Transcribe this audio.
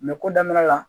ko daminɛ la